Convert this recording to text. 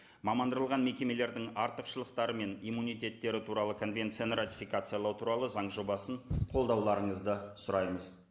мекемелердің артықшылықтары мен иммунитеттері туралы конвенцияны ратификациялау туралы заң жобасын қолдауларыңызды сұраймыз